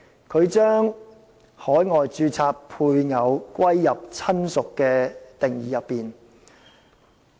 他把在海外註冊的配偶納入"親屬"的定義。